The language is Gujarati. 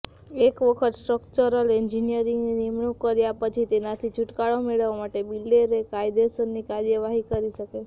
એક વખત સ્ટ્રકચરલ એન્જિનિયરની નિમણૂક કર્યા પછી તેનાથી છુટકારો મેળવવા બિલ્ડર કાયદેસર કાર્યવાહી કરી શકે